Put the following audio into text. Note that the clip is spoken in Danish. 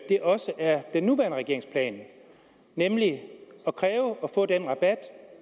det også er den nuværende regerings plan at kræve at få den rabat